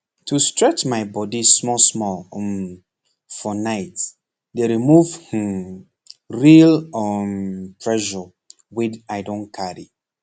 to stretch my body smallsmall um for night dey remove hmmm real um pressure wey i don carry